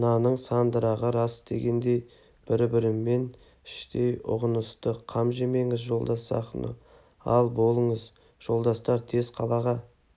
мынаның сандырағы рас дегендей бір-бірін іштей ұғынысты қам жемеңіз жолдас сахно ал болыңыз жолдастар тез қалаға